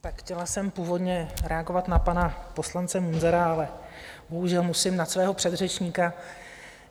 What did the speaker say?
Tak chtěla jsem původně reagovat na pana poslance Munzara, ale bohužel musím na svého předřečníka.